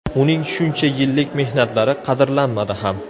Uning shuncha yillik mehnatlari qadrlanmadi ham.